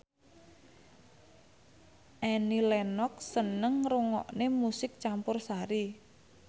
Annie Lenox seneng ngrungokne musik campursari